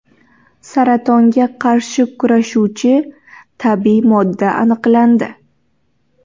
Saratonga qarshi kurashuvchi tabiiy modda aniqlandi.